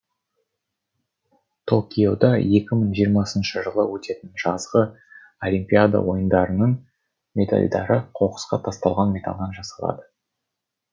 токиода екі мың жиырмасыншы жылы өтетін жазғы олимпиада ойындарының медальдары қоқысқа тасталған металдан жасалады